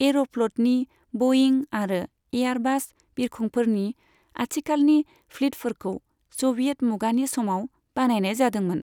एर'फ्ल'तनि बयिं आरो एयारबास बिरखंफोरनि आथिखालनि फ्लीतफोरखौ स'भियेट मुगानि समाव बानायनाय जादोंमोन।